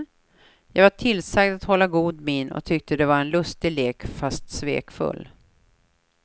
Jag var tillsagd att hålla god min och tyckte det var en lustig lek fast svekfull.